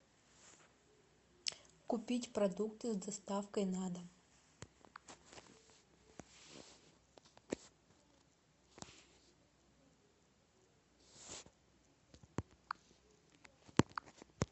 купить продукты с доставкой на дом